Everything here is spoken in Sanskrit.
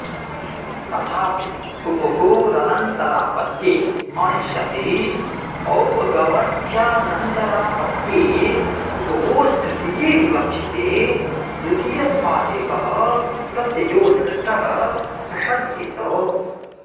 तथापि उपगोरनन्तरापत्ये अणि सति औपगवस्यानन्तरापत्ये उपगोस्तृतीये विवक्षिते द्वितीयस्मादेकः प्रत्ययोनिष्टः प्रसज्येत